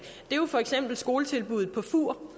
er for eksempel skoletilbuddet på fur hvor